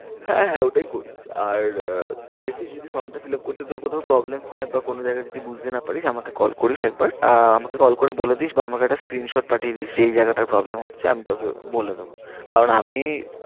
হ্যাঁ হ্যাঁ ওটাই করিস আর তুই দেখিস যদি form টা fill up করতে তোর কোথাও problem হয় বা কোনো জায়গা যদি বুঝতে না পারিস আমাকে call করিস একবার আহ আমাকে call করে বলে দিস বা আমাকে একটা screenshot পাঠিয়ে দিস যে এই জায়গাটার problem হচ্ছে আমি তোকে বলে দেবো। কারণ আমি